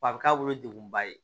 Wa a bɛ k'a bolo degun ba ye